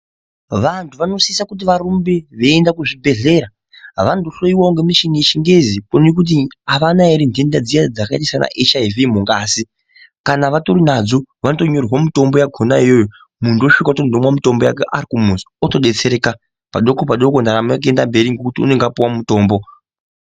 Vantu vanosisa kuti varumbe veyenda kuzvibhedhlera. Avandohloyiwa ngemishina yechingezi nekuti havana here ndenda dziya dzakaita sanaHIV mungazi. Kana vatorinadzo vanotonyorerwa mitombo yakhona iyoyo, muntu osvika voti ndoda mutombo wakati arimuzi otodetsereka. Padoko padoko ndakuenda mberi ndapuwa mutombo.